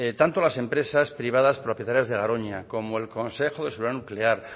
tanto las empresas privadas propietarias de garoña como el consejo de seguridad nuclear